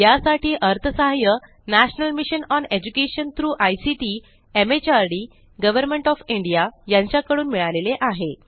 यासाठी अर्थसहाय्य national mission on education through ICT MHRD government of India यांच्या कडून मिळालेले आहे